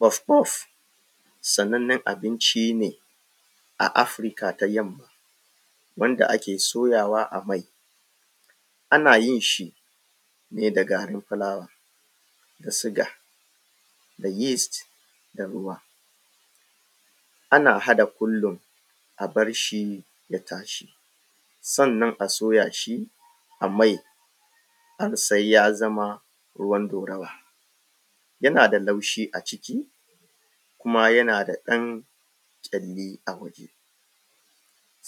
Puf puf sanannen abinci ne a Afrika ta yamma, wanda ake soyawa a mai. Ana yin shi ne da garin fulawa da siga da yeast da ruwa. Ana haɗa ƙullun a bar shi ya tashi, sannan a soya shi a mai har sai ya zama ruwan ɗaurawa. Yana da laushi a ciki, kuma yana da ɗan ƙyalli a waje.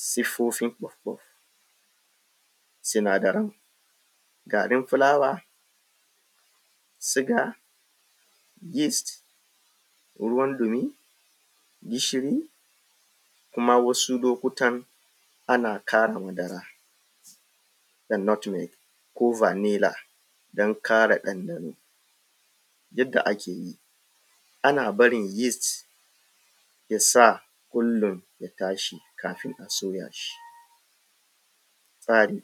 Siffofin puf puf. Sinadaran; garin fulawa, siga, yeast ruwan dumi, gishiri, kuma wasu lokutan ana kara madara da nutmeg ko vanilla dan kara ɗanɗano. Yadda ake yi, ana barin yeast ya sa ƙulun ya tashi kafin a soya shi. Tsari;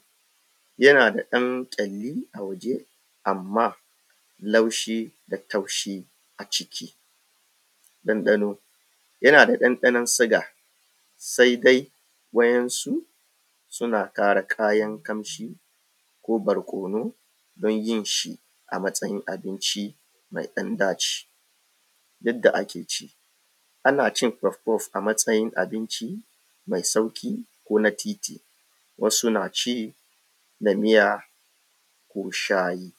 yana da ɗan ƙyalli a waje, amma laushi da taushi a ciki. Ɗanɗano; yana da ɗandanon siga, sai dai wayansu suna ƙara kayan kamshi ko barkwono don yin shi a matsayin abinci mai ɗan ɗaci. Yadda ake ci; ana cin puf puf a matsayin abinci mai sauki ko na titi, wasu na ci da miya ko shayi.